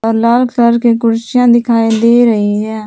लाल colour की कुर्सियां दिखाई दे रही हैं।